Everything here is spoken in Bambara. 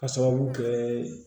K'a sababu kɛ